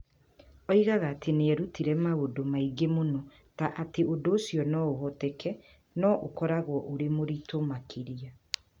Oigaga atĩ nĩ erutire maũndũ maingĩ mũno ta atĩ ũndũ ũcio no ũhoteke, no ũkoragwo ũrĩ mũritũ makĩria.